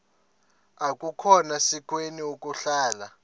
akukhona sikweni ukuhlala